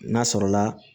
N'a sɔrɔla